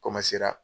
Komasera